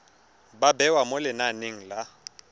ba bewa mo lenaneng la